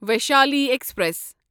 Vaishali express